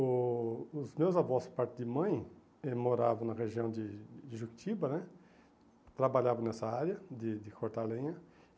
O os meus avós, por parte de mãe, moravam na região de de Juquitiba né, trabalhavam nessa área de de cortar lenha.